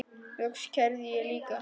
Loks kærði ég líka.